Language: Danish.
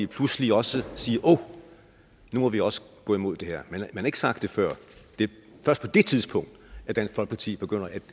pludselig også siger at nu må de også gå imod det her man har ikke sagt det før det er først på det tidspunkt at dansk folkeparti begynder at